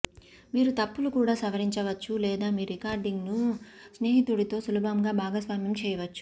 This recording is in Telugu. మీరు తప్పులు కూడా సవరించవచ్చు లేదా మీ రికార్డింగ్ను స్నేహితుడితో సులభంగా భాగస్వామ్యం చేయవచ్చు